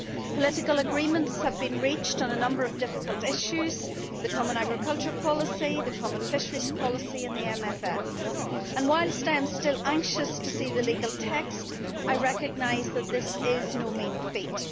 Political agreements have been reached on a number of difficult issues the common agricultural policy, the common fisheries policy and the MFF and whilst I am still anxious to see the legal text, I recognise that this is no mean feat.